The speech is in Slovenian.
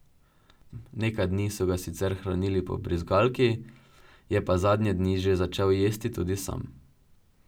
Nekaj dni so ga sicer hranili po brizgalki, je pa zadnje dni že začel jesti tudi sam.